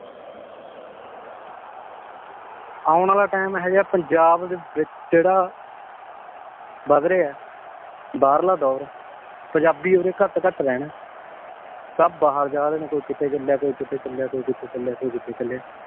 ਆਉਣ ਵਾਲਾ ਟਾਈਮ ਇਹੋ ਜੇਹਾ ਏ ਪੰਜਾਬ ਦੇ ਵਿਚ ਜਿਹੜਾ ਵੱਧ ਰਿਹਾ ਏ ਬਾਹਰਲਾ ਦਾ ਦੌਰ ਪੰਜਾਬੀ ਓਰੇ ਘਟ ਘਟ ਰਹਿਣਾ ਏ ਸਬ ਬਾਹਰ ਜਾਰੇ ਨੇ ਕੋਈ ਕਿਤੇ ਚੱਲਿਆ ਕੋਈ ਕਿਤੇ ਚੱਲਿਆ ਕੋਈ ਕਿਤੇ ਚੱਲਿਆ ਕੋਈ ਕਿਤੇ ਚੱਲਿਆ